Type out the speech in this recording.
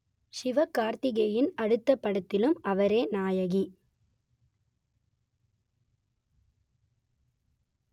ஷிவ கார்த்திகேயன் அடுத்தப் படத்திலும் அவரே நாயகி